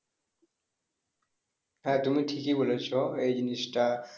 হ্যাঁ তুমি ঠিকই বলেছো এই জিনিসটা।